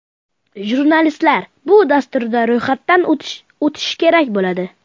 Jurnalistlar bu dasturda ro‘yxatdan o‘tishi kerak bo‘ladi.